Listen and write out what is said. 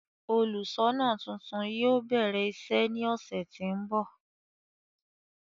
Óluṣọọna tuntun yóò bẹrẹ iṣe ni ọsẹ ti n bọ